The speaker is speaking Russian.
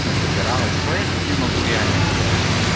насобиралось что я с ними могу реально сделать